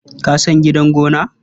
Ka san gidan gona?